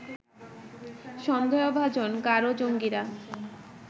সন্দেহভাজন গারো জঙ্গীরা